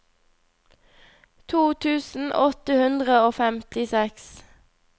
to tusen åtte hundre og femtiseks